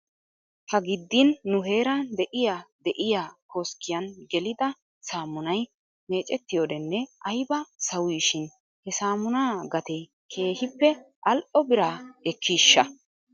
Ha giddin nu heeran de'iyaa de'iyaa koskkiyan gelida saammunay meecetiyoodenne ayba sawii shin he saammunaa gatee keehippe al"o biraa ekkiishsha?